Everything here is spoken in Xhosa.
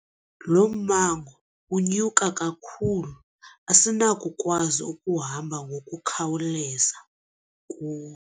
Lo mmango unyuka kakhulu asinakukwazi ukuhamba ngokukhawuleza kuwo.